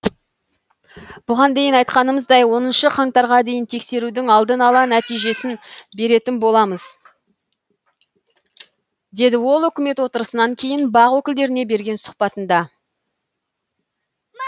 бұған дейін айтқанымыздай оныншы қаңтарға дейін тексерудің алдын ала нәтижесін беретін боламыз деді ол үкімет отырысынан кейін бақ өкілдеріне берген сұхбатында